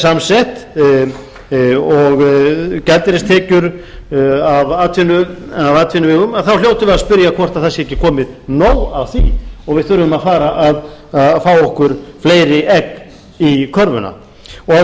samsett og gjaldeyristekjur af atvinnuvegum þá hljótum við að spyrja hvort það sé ekki komið nóg af því og við þurfum að fara að fá okkur fleiri egg í körfu að lokum